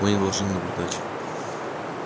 мы не должны наблюдать